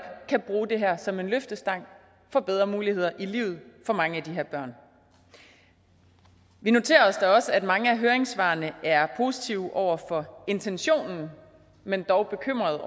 kan bruge det her som en løftestang for bedre muligheder i livet for mange af de her børn vi noterer os da også at mange af høringssvarene er positive over for intentionen men dog bekymrede